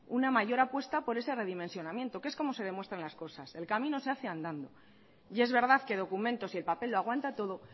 una mayor apuesta por esa redimensionamiento que es como se demuestran las cosas el camino se hace andando y es verdad que documentos y el papel lo aguanta todo